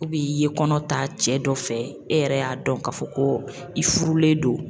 i ye kɔnɔ ta cɛ dɔ fɛ e yɛrɛ y'a dɔn k'a fɔ ko i furulen don